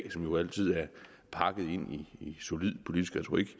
jo altid er pakket ind i solid politisk retorik